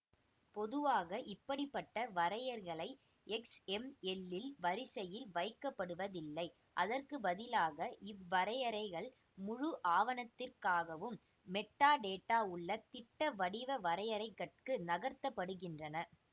பொதுவாக இப்படி பட்ட வரையறைகள் எக்ஸ்எம்எல்லில் வரிசையில் வைக்கப்படுவதில்லை அதற்கு பதிலாக இவ்வரையறைகள் முழு ஆவணத்திற்காகவும் மெட்டாடேட்டா உள்ள திட்ட வடிவ வரையறைகட்கு நகர்த்தப்படுகின்றன